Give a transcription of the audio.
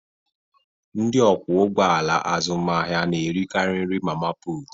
Ndị ọkwọ ụgbọ ala azụmahịa na-erikarị nri mama putu.